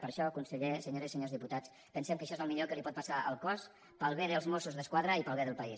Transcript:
per això conseller senyores i senyors diputats pensem que això és el millor que li pot passar al cos pel bé dels mossos d’esquadra i pel bé del país